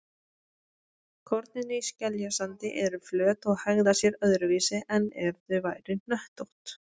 Kornin í skeljasandi eru flöt og hegða sér öðruvísi en ef þau væru hnöttótt.